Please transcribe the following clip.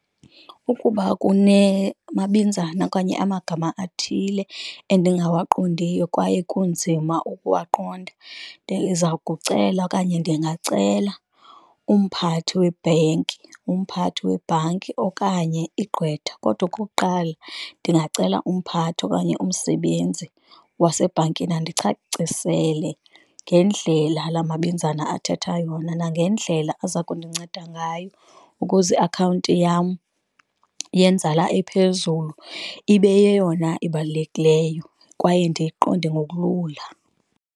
Ukuba kunemabinzana okanye amagama athile endingawaqondiyo kwaye kunzima ukuwaqonda ndiza kucela okanye ndingacela umphathi webhenki, umphathi webhanki okanye igqwetha, kodwa okokuqala ndingacela umphathi okanye umsebenzi wasebhankini. Andicacisele ngendlela la mabinzana athetha yona, nangendlela aza kundinceda ngayo ukuze iakhawunti yam yenzala ephezulu ibe yeyona ebalulekileyo kwaye ndiyiqonde ngokulula.